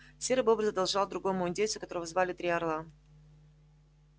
серый бобр задолжал другому индейцу которого звали три орла